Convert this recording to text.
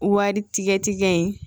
Wari tigɛ tigɛ in